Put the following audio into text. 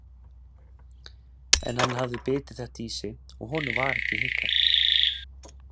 En hann hafði bitið þetta í sig og honum var ekki hnikað.